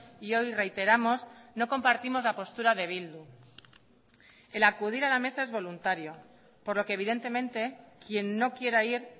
y hoy reiteramos no compartimos la postura de bildu el acudir a la mesa es voluntario por lo que evidentemente quien no quiera ir